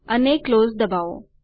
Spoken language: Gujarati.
અને ક્લોઝ દબાવો